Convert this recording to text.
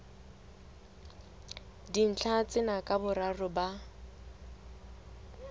dintlha tsena ka boraro ba